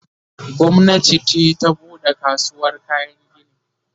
gwamnati ce ta buɗe kasuwar kayan gini